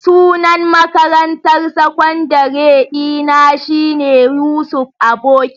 Sunan makarantar sakandare dina shine Yusuf Aboki.